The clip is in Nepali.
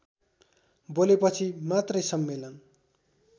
बोलेपछि मात्रै सम्मेलन